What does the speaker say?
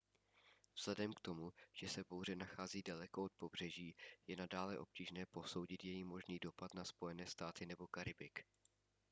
vzhledem k tomu že se bouře nachází daleko od pobřeží je nadále obtížné posoudit její možný dopad na spojené státy nebo karibik